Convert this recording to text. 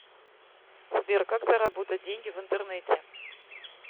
сбер как заработать деньги в интернете